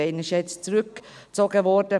Eine wurde ja jetzt zurückgezogen.